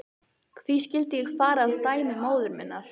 Hví skyldi ég fara að dæmi móður minnar?